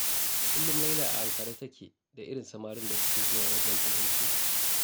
Kullum Laila a ankare take da irin samarin da suke zuwa wajenta zance.